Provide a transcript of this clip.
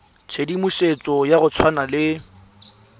tshedimosetso ya go tshwana le